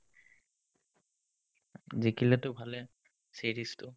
জিকিলেটো ভালেই series টো